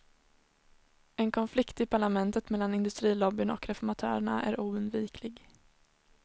En konflikt i parlamentet mellan industrilobbyn och reformatörerna är oundviklig.